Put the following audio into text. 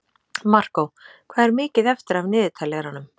Markó, hvað er mikið eftir af niðurteljaranum?